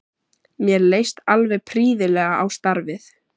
Mér leist alveg prýðilega á starfið.